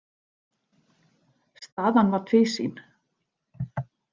Staðan var tvísýn.